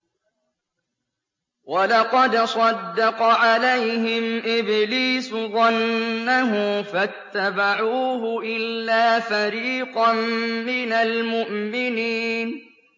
وَلَقَدْ صَدَّقَ عَلَيْهِمْ إِبْلِيسُ ظَنَّهُ فَاتَّبَعُوهُ إِلَّا فَرِيقًا مِّنَ الْمُؤْمِنِينَ